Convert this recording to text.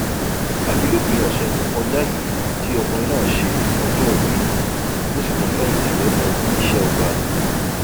àfi lópin ọsẹ tó kọjá yìí tí ọkùnrin náà ṣe ọjọòbí tó sì tún fẹyìntì lẹnu iṣẹ ọba